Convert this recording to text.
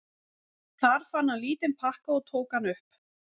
Þar fann hann lítinn pakka og tók hann upp.